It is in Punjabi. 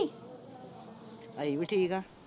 ਅਸੀਂ ਵੀ ਠੀਕ ਆ